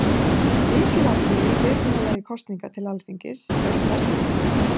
Lykilatriðin í fyrirkomulagi kosninga til Alþingis eru þessi: